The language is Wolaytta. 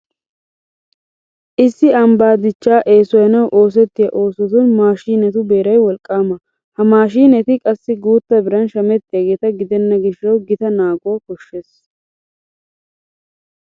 Issi ambbaa dichchaa eesoyanawu oosettiya oosotun maashiinetu beeray wolqqaama. Ha maashiineti qassi guutta biran shamettiyageeta gidenna gishshawu gita naaguwa koshshees.